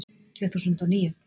Tvö þúsund og níu